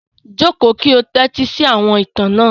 Jókò ki ó tẹtisi àwọn ìtan náà!